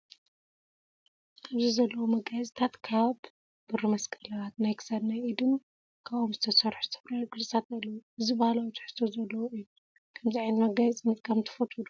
ኣብዚ ዘለወ መጋየፅታት ካብ ብሪመስቀላት ናይ ክሳድ ናይ ኢድ ን ካብ ኦም ዝተሰርሑ ዝተፈላለዩ ቅርፅታት ኣለው። እዚ ባህላዊ ትሕዝቶ ዘለዎ እዩ። ከምዚ ዓይነት መጋየፂ ምጥቃም ትፈትዎ ዶ ?